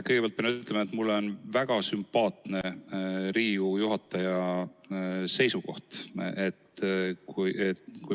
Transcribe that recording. Kõigepealt pean ütlema, et Riigikogu esimehe seisukoht on mulle väga sümpaatne.